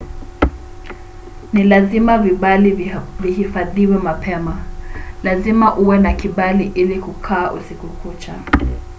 ni lazima vibali vihifadhiwe mapema. lazima uwe na kibali ili kukaa usiku kucha